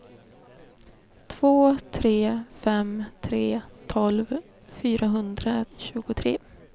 två tre fem tre tolv fyrahundratjugotre